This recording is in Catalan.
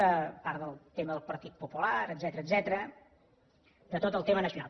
a part del tema del partit popular etcètera de tot el tema nacional